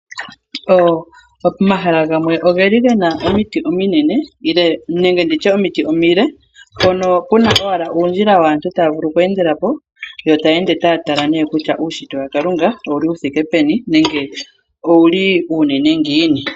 Pomahala gamwe ogeli gena omiti ominene nenge nditye omiti omile mpononkuna owala undjila waantu tavulu oku endelapo ,yota ya ende ta tala ne kutya ushitwe waKalulunga owuli wuthike peni nowu li uunene ngiini.